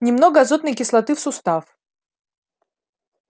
немного азотной кислоты в сустав